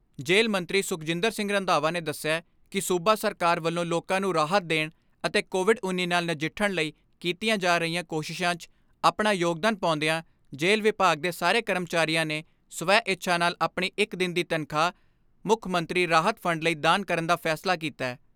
ਜੇਲ੍ਹ ਮੰਤਰੀ ਸੁਖਜਿੰਦਰ ਸਿੰਘ ਰੰਧਾਵਾ ਨੇ ਦਸਿਆ ਕਿ ਸੂਬਾ ਸਰਕਾਰ ਵੱਲੋਂ ਲੋਕਾਂ ਨੂੰ ਰਾਹਤ ਦੇਣ ਅਤੇ ਕੋਵਿਡ ਉੱਨੀ ਨਾਲ ਨਜਿੱਠਣ ਲਈ ਕੀਤੀਆਂ ਜਾ ਰਹੀਆਂ ਕੋਸ਼ਿਸ਼ਾਂ 'ਚ ਆਪਣਾ ਯੋਗਦਾਨ ਪਾਉਂਦਿਆਂ ਜੇਲ੍ਹ ਵਿਭਾਗ ਦੇ ਸਾਰੇ ਕਰਮਚਾਰੀਆਂ ਨੇ ਸਵੈ ਇੱਛਾ ਨਾਲ ਆਪਣੀ ਇਕ ਦਿਨ ਦੀ ਤਨਖਾਹ, ਮੁੱਖ ਮੰਤਰੀ ਰਾਹਤ ਫੰਡ ਲਈ ਦਾਨ ਕਰਨ ਦਾ ਫੈਸਲਾ ਕੀਤੈ।